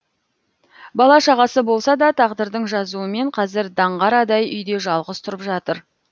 бала шағасы болса да тағдырдың жазуымен қазір даңғарадай үйде жалғыз тұрып жатыр